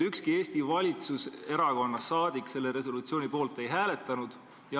Ükski Eesti valitsuserakonna saadik selle resolutsiooni poolt ei hääletanud.